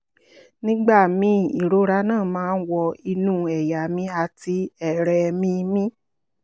nígbà míì ìrora náà máa ń wọ inú ẹ̀yà mi àti ẹ̀rẹ̀ mi mi